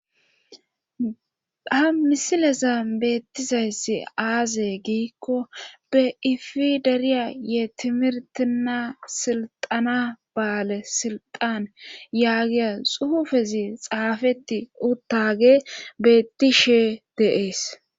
ha misileza beettizayssi aaze giikko be ifi dariya yee timirtina silxana baale silxan yaagiya xuufezi xaafetti uttage beetti shee deees